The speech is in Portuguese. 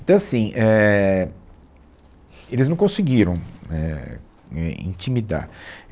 Então, assim, é, eles não conseguiram, é, é intimidar.